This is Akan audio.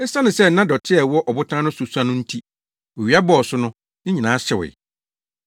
Esiane sɛ na dɔte a ɛwɔ ɔbotan no so sua no nti, owia bɔɔ so no, ne nyinaa hyewee.